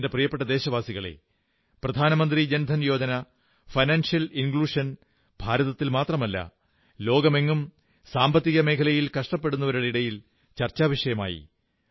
എന്റെ പ്രിയപ്പെട്ട ദേശവാസികളേ പ്രധാനമന്ത്രി ജനധൻ യോജന ഭാരതത്തിൽ മാത്രമല്ല ലോകമെങ്ങും സാമ്പത്തികമേഖലയിൽ കഷ്ടപ്പെടുന്നവരുടെയിടയിൽ ചർച്ചാവിഷയമായി